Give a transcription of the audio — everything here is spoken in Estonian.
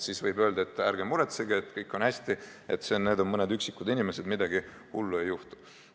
Siis võib öelda, et ärge muretsege, kõik on hästi, need on mõned üksikud inimesed, midagi hullu ei juhtu.